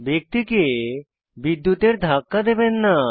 ব্যক্তিকে বিদ্যুতের ধাক্কা দেবেন না